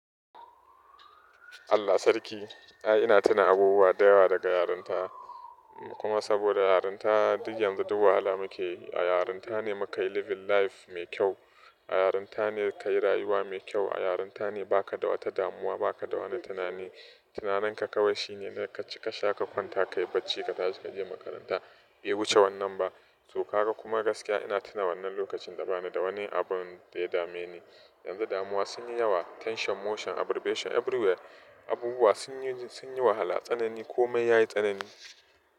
Allah sarki. Aa ina tuna abubuwa da yawa daga yarinta kuma saboda yarinta duk yanzu duk wahala muke yi. A yarinta ne muka yi living life mai kyau. A yarinta ne kayi rayuwa mai kyau. A yarinta ne baka da wata damuwa, baka da wani tunani. Tunananka kawai shine na kaci, kasha, ka kwanta, ka yi bacci, ka tashi, ka je makaranta. Bai wuce wannan ba. To ka ga kuma gaskiya ina tuna wannan lokacin da bana da wani abun da ya dame ni. Yanzu damuwa sun yi yawa, tension, motion, aggravation everywhere. Abubuwa sun yi, sun yi wahala. Tsanani komai yayi tsanani.